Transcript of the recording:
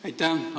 Aitäh!